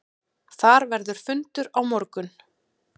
Þar verður fundur á morgun.